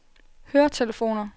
høretelefoner